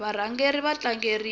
varhangeri va tlangeriwa